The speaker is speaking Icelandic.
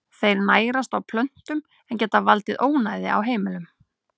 Þeir nærast á plöntum en geta valdið ónæði á heimilum.